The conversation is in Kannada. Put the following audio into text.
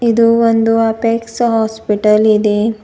ಇದು ಒಂದು ಅಪೇಕ್ಸ್ ಹಾಸ್ಪಿಟಲ್ ಇದೆ.